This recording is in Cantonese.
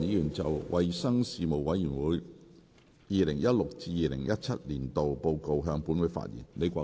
李國麟議員就"衞生事務委員會 2016-2017 年度報告"向本會發言。